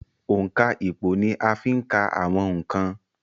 òǹkà ìpò ni a ń fí ka àwọn ǹkan